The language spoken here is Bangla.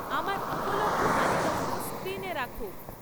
আমার উপলব্ধ তালিকাগুলো স্ক্রীনে রাখো